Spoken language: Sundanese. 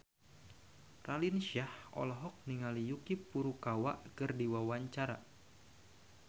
Raline Shah olohok ningali Yuki Furukawa keur diwawancara